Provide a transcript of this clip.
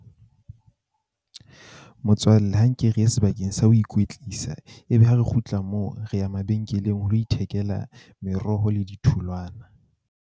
Motswalle ha nke re ye sebakeng sa ho ikwetlisa, ebe ha re kgutla moo re ya mabenkeleng ho lo ithekela meroho le ditholwana.